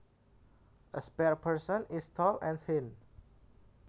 A spare person is tall and thin